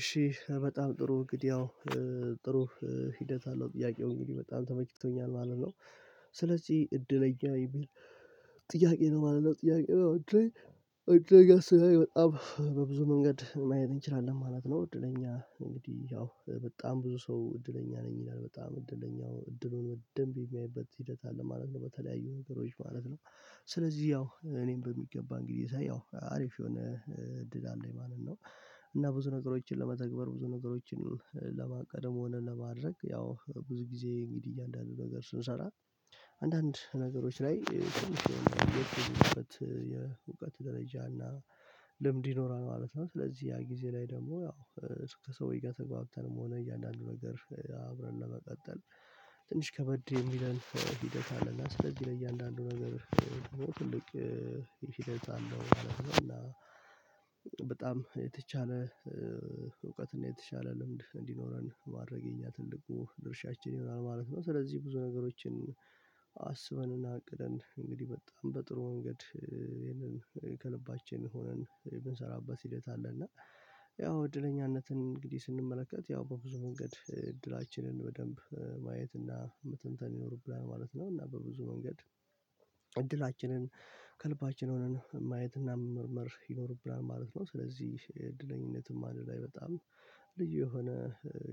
እሺ በጣም ጥሩ እግድ ያው ጥሩ ሂደት አለው ጥያቄ ሆኜ በጣም ተመክቶኛል ማለት ነው ስለዚህ እድለኛ የሚል ጥያቄ ነው ማለት ነው ጥያቄ ነው እድለኛ ስለኛ በብዙ መንገድ ማየት እንችላለን ማለት ነው እድለኛ እንግዲህ ያው በጣም ብዙ ሰው እድለኛ ነኝ ይላል በጣም እድለኛው እድሉን በደንብ የሚያይበት ሂደት አለ ማለት ነው በተለያዩ ነገሮች ማለት ነው ስለዚህ ያው እኔም በሚገባ እንግዲህ እያየሁ አሪፍ የሆነ እድል አለኝ ማለት ነው እና ብዙ ነገሮችን ለመተግበር ብዙ ነገሮችን ለማቀደም ሆነን ለማድረግ ያው ብዙ ጊዜ እንግዲህ እያንዳንዱ ነገር ስንሰራ አንዳንድ ነገሮች ላይ የውቀት ደረጃ እና ልምድ ይኖራል ማለት ነው ስለዚህ ያ ጊዜ ላይ ደግሞ ያው ከሰውዬ ጋር ተጋብተንም ሆነ እያንዳንዱ ነገር አብረን ለመቀጠል ትንሽ ከበድ የሚለን ሂደት አለና ስለዚህ ለእያንዳንዱ ነገር ትልቅ ይሄ ሂደት አለው በጣም የተቻለ እውቀት ነው የተሻለ ልምድ እንዲኖረን ማረግ የኛ ትልቁ ድርሻችን ይሆናል ማለት ነው ስለዚህ ብዙ ነገሮችን አሰባን። እና አቅደን እንግዲህ በጣም በጥሩ ወንገድ የለንም ከልባችን የሆነን ብንሰራበት ሂደት አለ እና ያው እድለኛነትን እንግዲህ ስንመለከት ያው በብዙ መንገድ እድላችንን በደንብ ማየት እና ምትንተን ይኖርብናል ማለት ነው እና በብዙ መንገድ እድላችንን ከልባችን ሆነን ማየትና መመርመር ይኖርብናል ማለት ነው ስለዚህ እድለኝነትም አንድ ላይ በጣም ልጅ የሆነ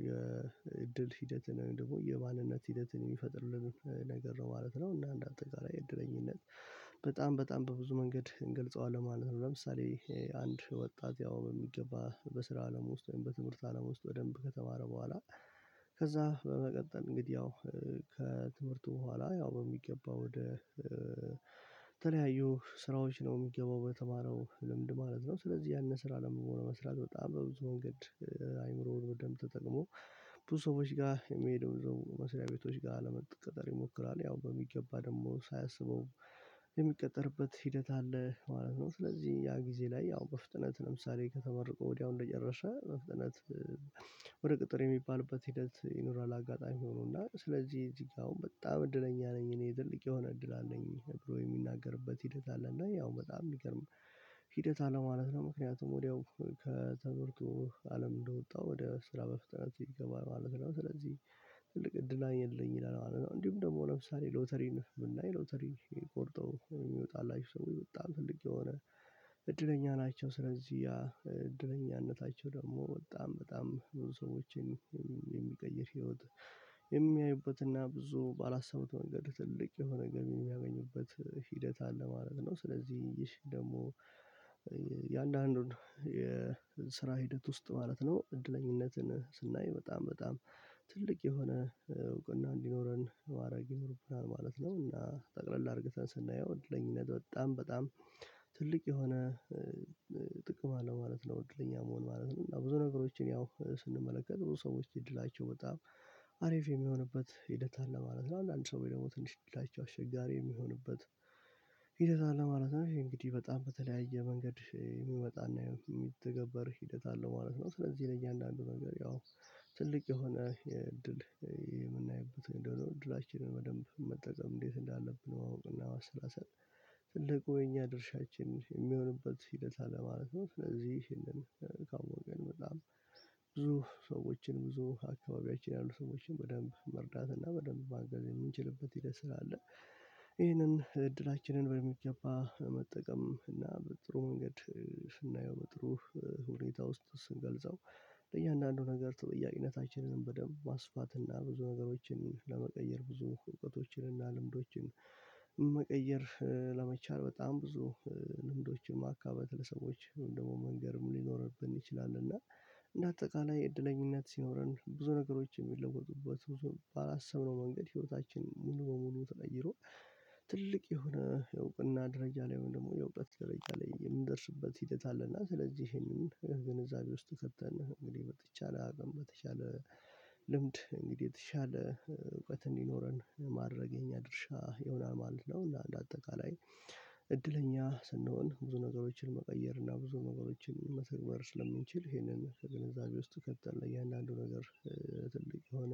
የእድል ሂደትን ደግሞ የባልነት ሂደትን የሚፈጥርልን ነገር ነው ማለት ነው እና እንዳትገራይ እድለኝነት በጣም በጣም በብዙ መንገድ እንገልጸዋለን ማለት ነው ለምሳሌ አንድ ወጣት ያው በሚገባ በስራ አለም ውስጥ ወይም በትምህርት አለም ውስጥ ወደንብ ከተማረ በኋላ ከዛ በመቀጠል እንግዲህ ያው ከትምህርቱ በኋላ ያው በሚገባ ወደ ተለያዩ ስራዎች ነው የሚገባው በተማረው ልምድ ማለት ነው ስለዚህ ያንን ስራ ለመሆን መስራት በጣም በብዙ መንገድ በደንብ ተጠቅሞ ብዙ ሰዎች ጋር የሚሄዱ መስሪያ ቤቶች ጋር ለመቀጠር ይሞክራል ያው በሚገባ ደግሞ ሳያስበው የሚቀጠርበት ሂደት አለ ማለት ነው ስለዚህ ያ ጊዜ ላይ ያው በፍጥነት ለምሳሌ ከተመረቀ ወዲያው እንደጨረሰ መፍጠነት ወደ ቅጥር የሚባልበት ሂደት ይኖራል አጋጣሚ ሆኖና ስለዚህ እዚህ ጋር አሁን በጣም እድለኛ ነኝ እኔ ትልቅ የሆነ እድል አለኝ ብሎ የሚናገርበት ሂደት አለኝ እና ያው በጣም ይገርም ሂደት አለ ማለት ነው ምክንያቱም ወዲያው ከተምርቶ አለም እንደወጣ ወደ ስራ በፍጥነት ይገባል ማለት ነው ስለዚህ ትልቅ እድል አይደለም ይላል እንዲሁም ደግሞ ለምሳሌ ሎተሪን የምናይ ሎተሪን ቆርጠው የሚወጣላችሁ ሰው በጣም ፈልጌ የሆነ እድለኛ ናቸው ስለዚህ እደላኛነታቸው ደግሞ በጣም በጣም ብዙ ሰዎችን የሚቀይር ህይወት የሚያዩበትና ብዙ ባላሰቡት መንገድ ትልቅ የሆነ ገቢ የሚያገኙበት ሂደት አለ ማለት ነው ስለዚህ ይህሽ ደግሞ የአንዳንዱን የስራ ሂደት ውስጥ ማለት ነው እድለኝነትን ስናይ በጣም በጣም ትልቅ የሆነ እውቅና እንዲኖረን አረጌ ይወርቡናል ማለት ነው እና ጠቅለል አድርገህ ስናየው እድለኛነት በጣም በጣም ትልቅ የሆነ ጥቅም አለ ማለት ነው እድለኛ መሆን ማለት ነው ብዙ ነገሮችን ያው ስንመለከት ብዙ ሰዎች እድላቸው በጣም አሪፍ የሚሆንበት ሂደት አለ ማለት ነው አንድ ሰው ደግሞ ትንሽ ላይ አሸጋሪ የሚሆንበት ሂደት አለ ማለት ነው እንግዲህ በጣም በተለያየ መንገድ የሚመጣና የሚተገበር ሂደት አለ ማለት ነው ስለዚህ ለእያንዳንዱ ነገር ያው ትልቅ የሆነ የእድል የምናይበት እንደሆነ እድላችንን በደንብ መጠቀም እንዴት እንዳለብን እናውቅ አሰላሰል ትልቁ የኛ ድርሻችን የሚሆንበት ሂደት አለ ማለት ነው ይሄንን ካወቀን በጣም ብዙ ሰዎችን ብዙ አካባቢያችን ያሉ ሰዎችን በደንብ መርዳት እና በደንብ ማገዝ የምንችልበት ይልህ ስራ አለ ይሄንን እድላችንን በሚገባ መጠቀም እና በጥሩ መንገድ ስናየው በጥሩ ሁኔታ ውስጥ ስንገልጸው ለእያንዳንዱ ነገር ተጠያቂነታችንን በደንብ ማስፋት እና ብዙ ነገሮችን ለመቀየር ብዙ እውቀቶችን እና ልምዶችን መቀየር ለመቻል በጣም ብዙ ልምዶችን ማካበት ለሰዎች ደግሞ መንገርም ሊኖርብን ይችላል እና እንደ አጠቃላይ እድለኝነት ሲኖረን ብዙ ነገሮችን የሚለወጡበት ብዙም ባላሰብነው መንገድ ህይወታችን ሙሉ በሙሉ ተቀይሮ ትልቅ የሆነ የእውቅና ደረጃ ላይ ወይም ደግሞ የእውቀት ደረጃ ላይ የምንደርስበት ሂደት አለና ስለዚህ ይሄንን ግንዛቤ ውስጥ ከተን እንግዲህ በተቻለ አቅም በተቻለ ልምድ እንግዲህ የተቻለ እውቀት እንዲኖረን ማድረገኛ ድርሻ ይሆናል ማለት ነው ለአንድ አጠቃላይ እድለኛ ስንሆን ብዙ ነገሮችን መቀየር እና ብዙ ነገሮችን መተግበር ስለምንችል ይሄንን ከግንዛቤ ውስጥ ከተለያን አንዱ ነገር ትልቅ የሆነ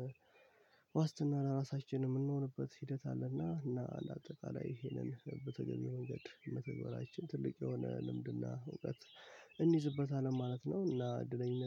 ዋስትና ለራሳችን የምንሆንበት ሂደት አለና እና ለአጠቃላይ ይሄንን በተገኘ መንገድ መተግበራችን ትልቅ የሆነ ልምድና እውቀት እንይዝበታለን ማለት ነው እና እድለኝነት